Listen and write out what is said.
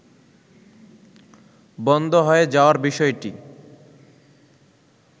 বন্ধ হয়ে যাওয়ার বিষয়টি